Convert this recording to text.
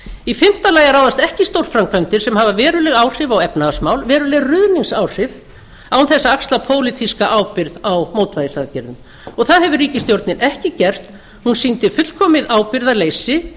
í fimmta lagi að ráðast ekki í stórframkvæmdir sem hafa veruleg áhrif á efnahagsmál veruleg ruðningsáhrif án þess að axla pólitíska ábyrgð á mótvægisaðgerðum það hefur ríkisstjórnin ekki gert hún sýndi fullkomið ábyrgðarleysi